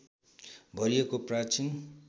भरिएको प्राचीन